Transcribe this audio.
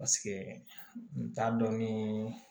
Paseke n t'a dɔn nii